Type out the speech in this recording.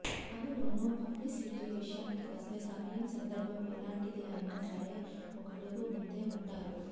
అందులోనూ పబ్లిసిటీ విషయానికి వస్తే సమయం సందర్భం ఎలాంటిది అయినా సరే ఒకడుగు ముందే ఉంటారు